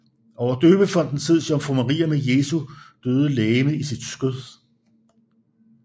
Over døbefonten ses Jomfru Maria med Jesu døde legeme i sit skød